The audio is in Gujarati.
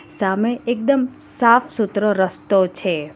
સામે એકદમ સાફ સૂતરો રસ્તો છે.